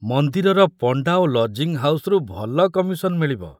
ମନ୍ଦିରର ପଣ୍ଡା ଓ ଲଜିଂ ହାଉସରୁ ଭଲ କମିଶନ ମିଳିବ।